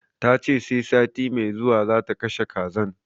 Tace sai sati mai zuwa zata kashe kazan